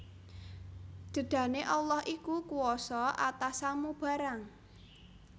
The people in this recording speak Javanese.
Dedane Allah iku kuwasa atas samu barang